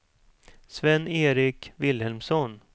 Sven-Erik Vilhelmsson